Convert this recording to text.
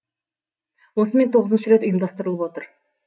осымен тоғызыншы рет ұйымдастырылып отыр